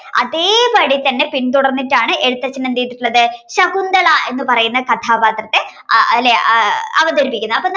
അതേപടി തന്നെ പിന്തുടർന്നിട്ടാണ് എഴുത്തച്ഛൻ എന്ത് ചെയ്തിട്ടുള്ളത് ശകുന്തള എന്ന് പറയുന്ന കഥാപാത്രത്തെ അഹ് അല്ലേ ആഹ് അവതരിപ്പിക്കുന്നത് അപ്പോ